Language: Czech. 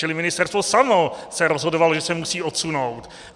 Čili ministerstvo samo se rozhodovalo, že se musí odsunout.